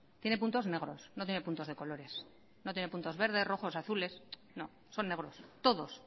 tiene puntos negros no tiene puntos de colores no tiene puntos verdes rojos azules no son negros todos